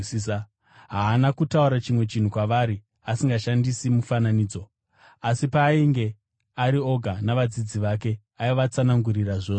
Haana kutaura chinhu chimwe kwavari asingashandisi mufananidzo. Asi paainge ari oga navadzidzi vake, aivatsanangurira zvose.